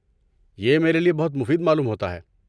یہ میرے لیے بہت مفید معلوم ہوتا ہے۔